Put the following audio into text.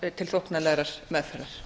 menntamálanefndar til þóknanlegrar meðferðar